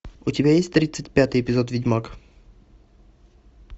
у тебя есть тридцать пятый эпизод ведьмак